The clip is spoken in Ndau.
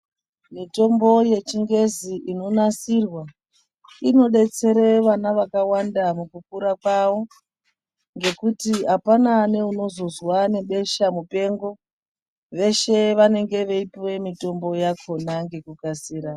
Mitombo yechingezi inonasirwa inodetsere vana vakawanda mukukura kwavo ngekuti apana neunozozwa nebesha mupengo. Veshe vanenge veipuwe mitombo yakhona ngekukasira